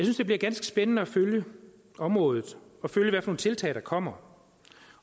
det bliver ganske spændende at følge området og følge hvad for nogle tiltag der kommer